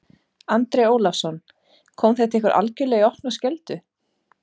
Andri Ólafsson: Kom þetta ykkur algjörlega í opna skjöldu?